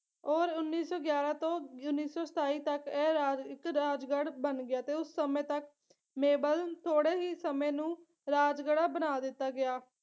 ਔਰ ਉੱਨੀ ਸੌ ਗਿਆਰਾਂ ਤੋਂ ਉੱਨੀ ਸੌ ਸਤਾਈ ਤੱਕ ਐ ਰਾਜ ਇੱਕ ਰਾਜਗੜ੍ਹ ਬਣ ਗਿਆ ਤੇ ਉਸ ਸਮੇਂ ਤੱਕ ਮੇਬਲਨ ਥੋੜੇ ਹੀ ਸਮੇਂ ਨੂੰ ਰਾਜਗੜ੍ਹਾ ਬਣਾ ਦਿੱਤਾ ਗਿਆ